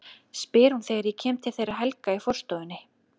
spyr hún þegar ég kem til þeirra Helga í forstofunni.